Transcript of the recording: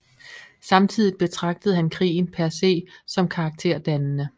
Samtidigt betragtede han krigen per se som karakterdannende